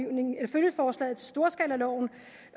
følgeforslaget til storskalaloven